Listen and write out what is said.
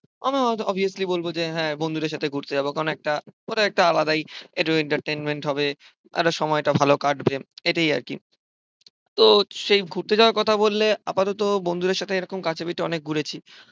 আমি হয়তো অবভিয়াসলি বলবো যে, হ্যাঁ বন্ধুদের সাথে ঘুরতে যাব। কারণ একটা ওটা একটা আলাদাই একটু এন্টারটেইনমেন্ট হবে একটা সময় টা ভালো কাটবে, এটাই আর কি। তো সেই ঘুরতে যাওয়ার কথা বললে আপাতত বন্ধুদের সাথে এরকম কাছে পিঠে অনেক ঘুরেছি।